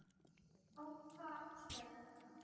Af hvaða ástæðu er þetta?